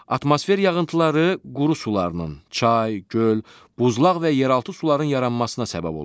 Atmosfer yağıntıları quru sularının, çay, göl, buzlaq və yeraltı suların yaranmasına səbəb olur.